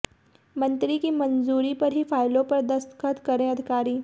मंत्री की मंजूरी पर ही फाइलों पर दस्तखत करें अधिकारी